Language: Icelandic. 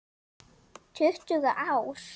Tuttugu ár!